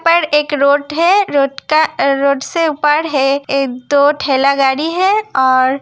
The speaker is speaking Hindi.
पर एक रोट है रोट का रोट से उपड़ है दो ठेला गाडी है और --